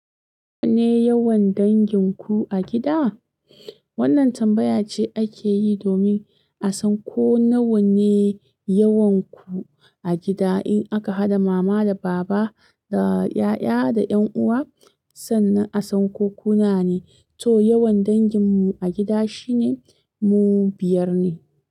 Nawa ne yawan dangin ku a gida? Wannan tambaya ce ake yi domin a san ko nawa ne yawanku a gida. In aka haɗa mama da baba da ƴaƴa da ƴan'uwa sannan a san ko kuna ne. To yawan dangin mu a gida shine mu biyar ne.